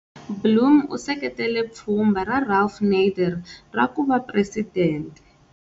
Blum u seketela pfhumba ra Ralph Nader ra ku va presidente.